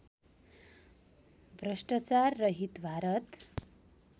भ्रष्टाचार रहित भारत